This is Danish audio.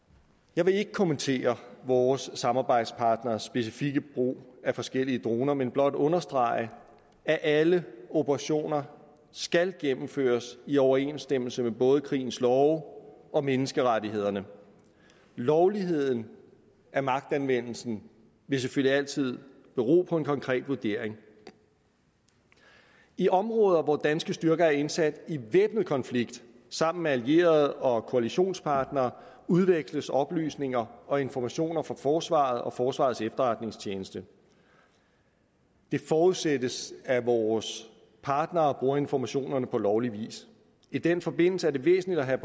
jeg vil ikke kommentere vores samarbejdspartneres specifikke brug af forskellige droner men blot understrege at alle operationer skal gennemføres i overensstemmelse med både krigens love og menneskerettighederne lovligheden af magtanvendelsen vil selvfølgelig altid bero på en konkret vurdering i områder hvor danske styrker er indsat i væbnet konflikt sammen med allierede og koalitionspartnere udveksles oplysninger og informationer fra forsvaret og forsvarets efterretningstjeneste det forudsættes at vores partnere bruger informationerne på lovlig vis i den forbindelse er det væsentligt at have